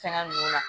Fɛngɛ ninnu la